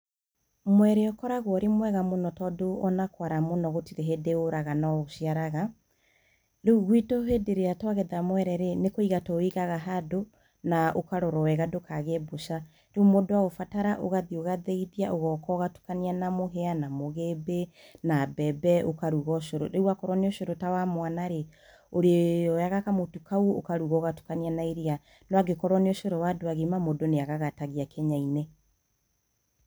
mwere ũkoragwo ũrĩ mwega mũno tondũ ona kwara mũno gũtirĩ hĩndĩ ũraga no ũciaraga, rĩu gwitũ hĩndĩ ĩrĩa twagetha mwereĩ, nĩ kwĩiga tũwĩigaga hando, na ũkarorwo wega ndũkagĩe mbũca, rĩu mũndũ aũbatara, ũgathiĩ akaũthĩithia ũgoka ũgatukania na mũhĩa na mũgĩmbĩ na mbembe ũkaruga ucoro, rĩu akorwo nĩ ucoro ta wa mwana - rĩ, ũrioyaga kamũtu kau ũkaruga ũgatukania na iria, no angĩkorwo nĩ ucoro wa andũ agima mũndũ nĩ agagatagiĩ kĩnya - inĩ.